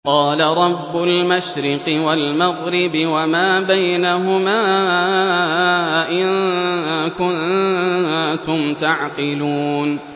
قَالَ رَبُّ الْمَشْرِقِ وَالْمَغْرِبِ وَمَا بَيْنَهُمَا ۖ إِن كُنتُمْ تَعْقِلُونَ